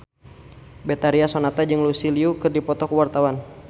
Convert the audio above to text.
Betharia Sonata jeung Lucy Liu keur dipoto ku wartawan